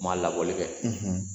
Ma labɔli kɛ